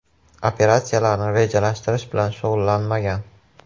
Operatsiyalarni rejalashtirish bilan shug‘ullanmagan.